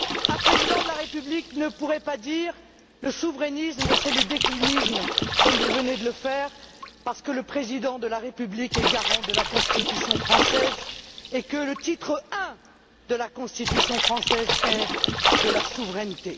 Un président de la République ne pourrait pas dire Le souverainisme, c'est le déclinisme, comme vous venez de le faire, parce que le président de la République est garant de la Constitution française et que le titre Ier de la Constitution française est De la souveraineté.